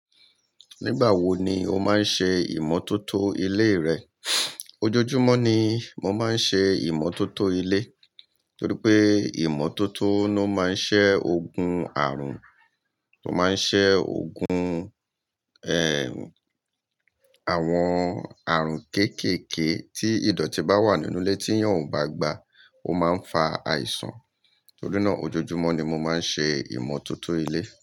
Nígbà wo ni o máa ń ṣe ìmọ́tótó ilé rẹ? Ojoojúmọ́ ni mo máa ń ṣe ìmọ́tótó ilé torí pé ìmọ́tótó ló máa ń ṣẹ́ ògun àrùn, ó máa ń ṣẹ́ ògun, ẹ́, àwọn àrùn kéékèèké tí ìdọ̀tí bá wà nínú ilé tí èèyàn ò bá gba, ó máa ń fa àìsàn. Torí náà ojoojúmọ́ ni mo máa ń ṣe ìmọ́tótó ilé.